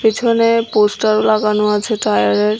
পিছনে পোস্টারও লাগানো আছে টায়ারের।